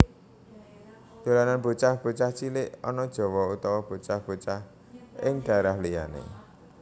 Dolanan bocah bocah cilik ana Jawa utawa bocah bocah ing dhaérah liyané